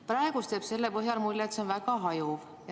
Praegu jääb mulje, et see on väga hajuv.